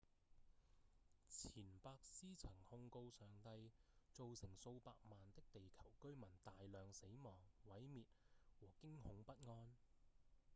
錢伯斯曾控告上帝「造成數百萬的地球居民大量死亡、毀滅和驚恐不安」